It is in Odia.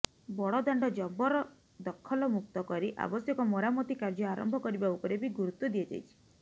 ବଡ଼ଦାଣ୍ଡ ଜବରଦଖଲମୁକ୍ତ କରି ଆବଶ୍ୟକ ମରାମତି କାର୍ଯ୍ୟ ଆରମ୍ଭ କରିବା ଉପରେ ବି ଗୁରୁତ୍ବ ଦିଆଯାଇଛି